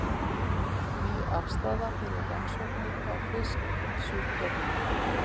Ný aðstaða fyrir rannsóknir á fisksjúkdómum